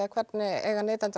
hvernig eiga neytendur